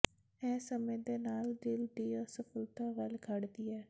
ਇਹ ਸਮੇਂ ਦੇ ਨਾਲ ਦਿਲ ਦੀ ਅਸਫਲਤਾ ਵੱਲ ਖੜਦੀ ਹੈ